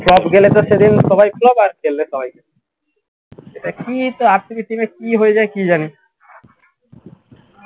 সব গেলে তো সেদিন সবাই flop এটা কী তো RCB team এর কী হয়ে যায় কী জানি